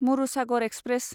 Marusagar express